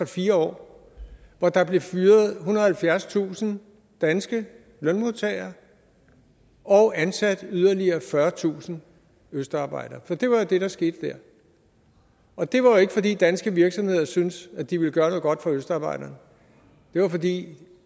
fire år hvor der blev fyret ethundrede og halvfjerdstusind danske lønmodtagere og ansat yderligere fyrretusind østarbejdere for det var jo det der skete der og det var jo ikke fordi danske virksomheder syntes at de ville gøre noget godt for østarbejderne det var fordi